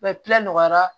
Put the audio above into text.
nɔgɔyara